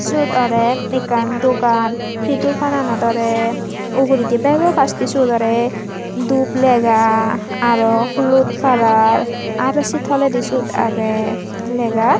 siyot orer ekkan dogan sey dogananot olay ugoredy bego pastay seyot olay dup lega aro hulut color aro say toledey seyot agey lega.